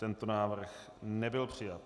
Tento návrh nebyl přijat.